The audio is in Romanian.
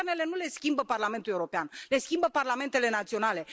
Guvernele nu le schimbă Parlamentul European, le schimbă parlamentele naționale.